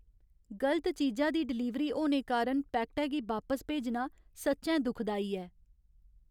गलत चीजा दी डलीवरी होने कारण पैकटै गी बापस भेजना सच्चैं दुखदाई ऐ।